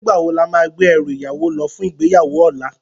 Nigbá wó lámá gbé èrú iyàwó lò fún igbéyáwó òlá?